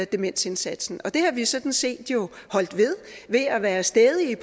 demensindsatsen det har vi sådan set jo holdt ved ved at være stædige